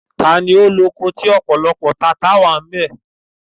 Ta ni ó loko tí ó ọ̀pọ̀lọpọ̀ àwọn tata-n-sánkọ?